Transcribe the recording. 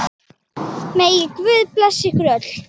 Megi Guð blessa ykkur öll.